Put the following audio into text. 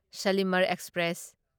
Shalimar express